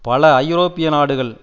பல ஐரோப்பிய நாடுகள்